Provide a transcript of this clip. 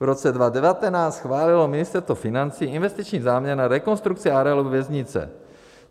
V roce 2019 schválilo Ministerstvo financí investiční záměr na rekonstrukci areálu věznice.